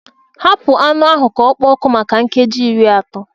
Hapụ anụ ahụ ka ọ kpoo ọkụ maka nkeji iri atọ